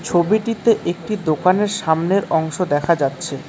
ছবিটিতে একটি দোকানের সামনের অংশ দেখা যাচ্ছে।